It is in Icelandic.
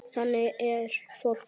Þannig er fólk.